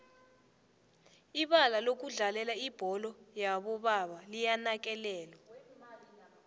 ibalalokudlalela ibholo yobo baba liyanakekelwa